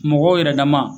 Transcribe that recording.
Mɔgɔw yɛrɛ dama